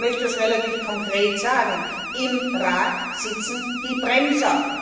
Ich möchte das relativ konkret sagen Im Rat sitzen die Bremser!